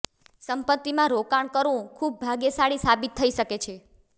સંપત્તિમાં રોકાણ કરવું ખૂબ ભાગ્યશાળી સાબિત થઈ શકે છે